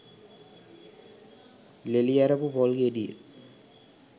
ලෙලි ඇරපු පොල් ගෙඩිය